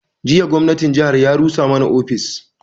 Jiya gwamnatin jihar ya rusa mana ofis